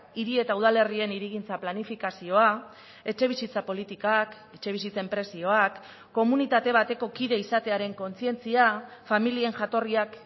hiri eta udalerrien hirigintza planifikazioa etxebizitza politikak etxebizitzen prezioak komunitate bateko kide izatearen kontzientzia familien jatorriak